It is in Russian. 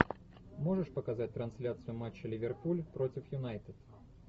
можешь показать трансляцию матча ливерпуль против юнайтед